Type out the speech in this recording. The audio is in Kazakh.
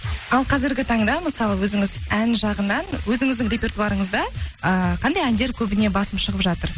ал қазіргі таңда мысалы өзіңіз ән жағынан өзіңіздің репертуарыңызда ыыы қандай әндер көбіне басым шығып жатыр